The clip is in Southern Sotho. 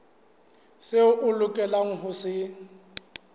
seo a lokelang ho se